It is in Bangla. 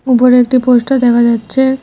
বড়ো একটি পোস্টার দেখা যাচ্ছে।